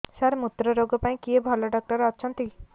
ସାର ମୁତ୍ରରୋଗ ପାଇଁ କିଏ ଭଲ ଡକ୍ଟର ଅଛନ୍ତି